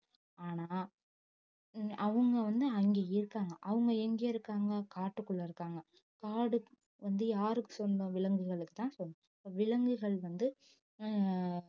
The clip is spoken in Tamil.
ஆனா அவங்க வந்து அங்கே இருக்காங்க அவங்க எங்க இருக்காங்க காட்டுக்குள்ளே இருக்காங்க காடு வந்து யாருக்கு சொந்தம் விலங்குகளுக்குத்தான் சொந்தம் விலங்குகள் வந்து உம்